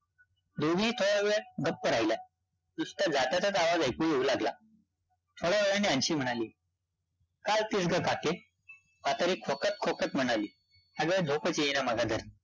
दोघेही थोड्यावेळ गप्पं राहिल्या, नुसता जात्याचाच आवाज ऐकू येवू लागला. थोड्या वेळाने अन्शी म्हणाली, काय गं म्हातारी खोकत-खोकत म्हणाली, अगं झोपचं येईना मला